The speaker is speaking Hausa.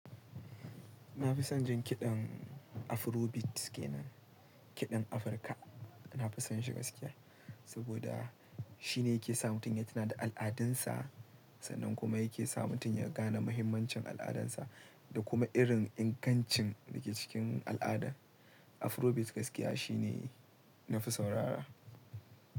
Na fi son jin kiɗan Afrobeat ke nan, kiɗan Afirka. Na fi son shi gaskiya, saboda shi ne yake sa mutum ya tuna da al'adunsa, sannan kuma yake sa mutum ya gane mahimmancin al'adunsa da kuma irin ingancin da ke cikin al'ada. Afrobeat gaskiya shi ne nafi saurara.